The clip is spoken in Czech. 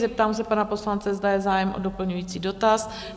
Zeptám se pana poslance, zda je zájem o doplňující dotaz?